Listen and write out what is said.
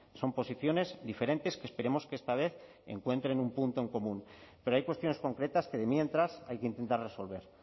son posiciones diferentes que esperemos que esta vez encuentren un punto en común pero hay cuestiones concretas que mientras hay que intentar resolver